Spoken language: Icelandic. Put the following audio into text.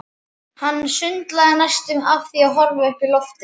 Hann sundlaði næstum af því að horfa upp í loftið.